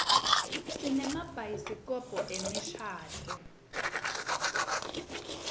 sinemabhayisikobho emishadvo